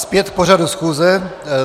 Zpět k pořadu schůze.